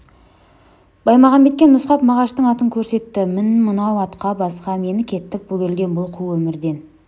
баймағамбетке нұсқап мағаштың атын көрсетті мін мынау атқа баста мені кеттік бұл елден бұл қу өмірден